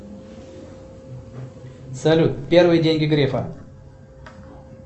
салют первые деньги грефа